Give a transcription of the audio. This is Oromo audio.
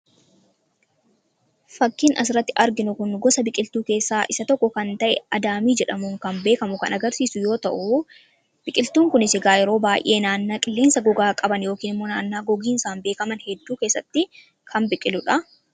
Fakkiin asirratti arginu gosa biqiltuu keessaa isa tokko kan ta'e adaamii jedhamuun kan beekamu kan agarsiisu yoo ta'u, biqiltuun kunis egaa yeroo baay'ee naannaa qilleensa gogaa qaban yookiin qillensa gogaan beekaman keessatti kan biqiludha.